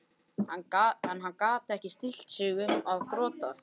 En hann gat ekki stillt sig um að gorta.